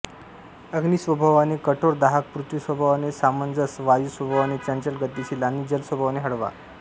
अग्नि स्वभावाने कठोर दाहक पृथ्वी स्वभावाने समंजस वायू स्वभावाने चंचल गतिशील आणि जल स्वभावाने हळवा